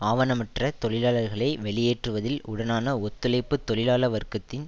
ஆவணமற்ற தொழிலாளர்களை வெளியேற்றுவதில் உடனான ஒத்துழைப்பு தொழிலாள வர்க்கத்தின்